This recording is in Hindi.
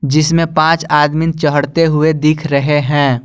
जिसमें पांच आदमी चहढ़ते हुए दिख रहे हैं।